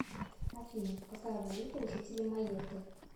афина какая валюта у жителей майотты